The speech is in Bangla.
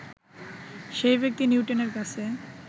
সেই ব্যক্তি নিউটনের কাছে